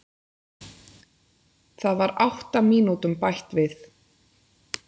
Það var átta mínútum bætt við